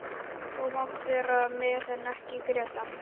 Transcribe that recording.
Þú mátt vera með en ekki Grétar.